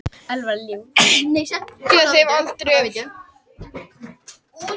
Gefa þeim aldrei færi á neinu og það tókst svo sannarlega með baráttu og vilja.